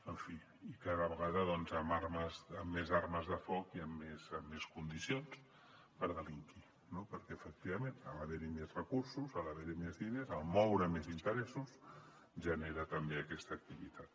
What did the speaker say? en fi i cada vegada doncs amb armes de foc i amb més condicions per delinquir no perquè efectivament a l’haver hi més recursos a l’haver hi més diners al moure més interessos genera també aquesta activitat